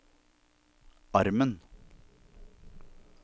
armen